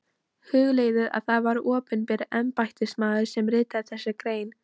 Hugleiðið að það var opinber embættismaður sem ritaði þessa grein.